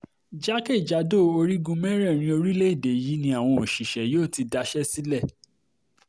jákè-jádò orígun mẹ́rẹ̀ẹ̀rin orílẹ̀‐èdè yìí ni àwọn òṣìṣẹ́ yóò ti daṣẹ́ sílẹ̀